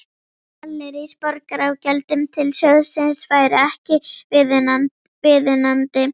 Gallerís Borgar á gjöldum til sjóðsins væru ekki viðunandi.